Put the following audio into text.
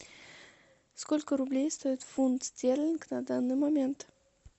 сколько рублей стоит фунт стерлинг на данный момент